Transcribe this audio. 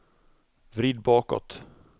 vrid bakåt